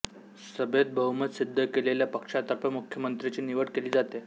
सभेत बहुमत सिद्ध केलेल्या पक्षातर्फे मुख्यमंत्र्यांची निवड केली जाते